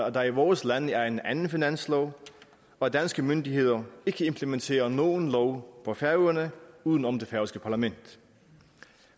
at der i vores lande er en anden finanslov og at danske myndigheder ikke implementerer nogen lov på færøerne uden om det færøske parlament